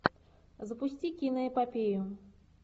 запусти киноэпопею